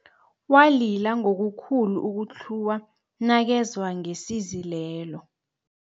Walila ngokukhulu ukutlhuwa nakezwa ngesizi lelo